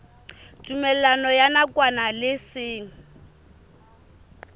tumellano ya nakwana le seng